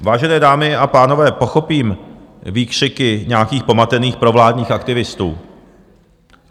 Vážené dámy a pánové, pochopím výkřiky nějakých pomatených provládních aktivistů.